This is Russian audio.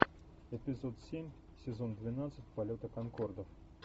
эпизод семь сезон двенадцать полета конкордов